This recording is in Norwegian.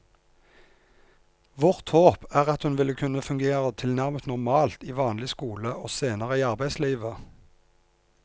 Vårt håp er at hun vil kunne fungere tilnærmet normalt i vanlig skole og senere i arbeidslivet.